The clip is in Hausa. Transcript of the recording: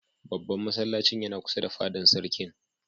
Babban masallacin yana kusa da fadan Sarkin.